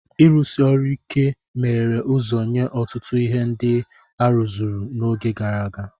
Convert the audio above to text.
Ịrụsi ọrụ ike meghere ụzọ nye ọtụtụ ihe ndị a rụzuru n'oge gara aga.